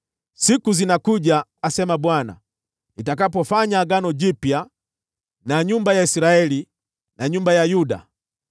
“Siku zinakuja,” asema Bwana , “nitakapofanya agano jipya na nyumba ya Israeli na nyumba ya Yuda.